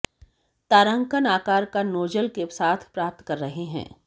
तारांकन आकार का नोजल के साथ प्राप्त कर रहे हैं